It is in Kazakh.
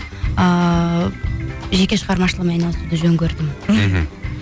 ыыы жеке шығармашылығымен айналысуды жөн көрдім мхм